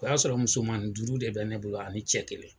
O y'a sɔrɔ musomani duuru de bɛ ne bolo ani cɛ kelen